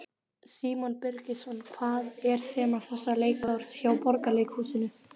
Símon Birgisson: Hvað er þema þessa leikárs hjá Borgarleikhúsinu?